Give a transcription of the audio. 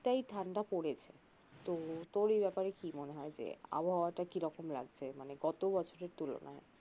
তাই ঠাণ্ডা পরেছে তো তোর এই ব্যাপারে কি মনে হয় যে আবহাওয়া টা কিরকম লাগছে মানে গত বছরের তুলনায়